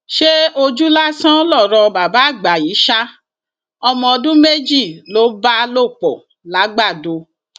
ṣé ojú lásán lọrọ bàbá àgbà yìí ṣa ọmọ ọdún méjì ló bá lò pọ làgbàdo